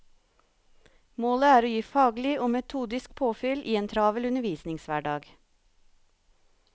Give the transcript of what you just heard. Målet er å gi faglig og metodisk påfyll i en travel undervisningshverdag.